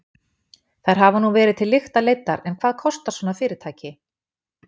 Þær hafa nú verið til lykta leiddar en hvað kostar svona fyrirtæki?